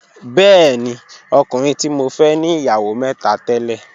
Bẹẹ̀ni, ọ̀kùnrin ti mọ fẹ̀ ní iyáwó mẹ́tà tẹ̀lẹ̀